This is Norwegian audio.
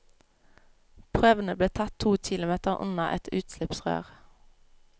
Prøvene ble tatt to kilometer unna et utslippsrør.